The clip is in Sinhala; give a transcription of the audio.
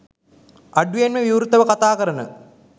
අඩුවෙන්ම විවෘතව කතා කරන